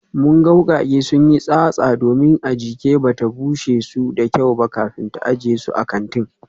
Mun ga wukake sun yi tsatsa domin Ajike bai bushe su da kyau ba kafin ta ajiye su a kantin